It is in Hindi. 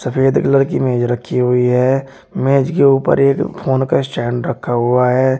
सफेद कलर की मेज रखी हुई है मेज के ऊपर एक फोन का स्टैंड रखा हुआ है।